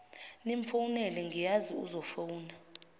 nimfowunele ngiyazi uzofuna